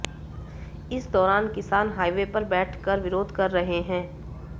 इस दौरान किसान हाइवे पर बैठ कर विरोध कर रहे हैं